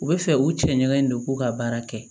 U bɛ fɛ u cɛ ɲɛ in don k'u ka baara kɛ